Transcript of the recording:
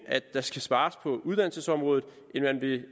at der skal spares på uddannelsesområdet